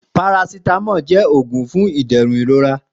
Parasitamọ jẹ́ oògùn fún ìdẹ̀rùn ìrora